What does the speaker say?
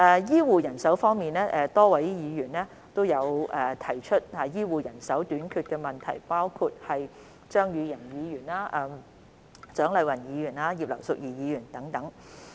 醫護人手方面，多位議員均提出醫護人手短缺的問題，包括張宇人議員、蔣麗芸議員和葉劉淑儀議員等。